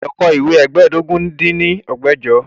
O gbọ́dọ̀ kọ ìwé ẹ́ẹdógún dín ní ẹgbẹ́jọ!